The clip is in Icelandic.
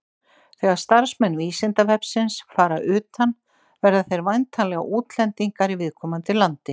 Þegar starfsmenn Vísindavefsins fara utan verða þeir væntanlega útlendingar í viðkomandi landi.